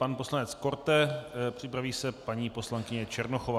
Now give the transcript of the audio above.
Pan poslanec Korte, připraví se paní poslankyně Černochová.